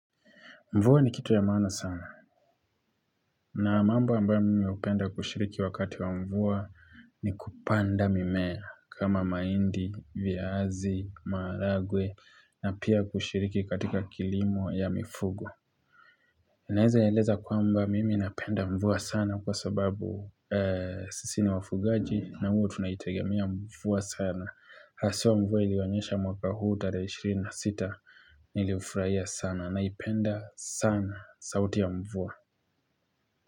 Mvua ni kitu ya maana sana na mambo ambayo mimi hupenda kushiriki wakati wa mvua ni kupanda mimea kama mahindi, viazi, maharagwe na pia kushiriki katika kilimo ya mifugo. Naweza eleza kwamba mimi napenda mvua sana kwa sababu sisi ni wafugaji na huwa tunayitegemea mvua sana. Haswa mvua ilionyesha mwaka huu tarehe 26 nilifurahia sana naipenda sana sauti ya mvua.